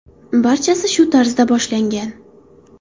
Barchasi shu tarzda boshlangan.